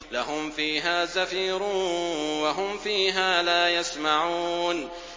لَهُمْ فِيهَا زَفِيرٌ وَهُمْ فِيهَا لَا يَسْمَعُونَ